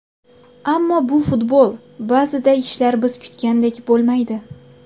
Ammo bu futbol, ba’zida ishlar biz kutgandek bo‘lmaydi.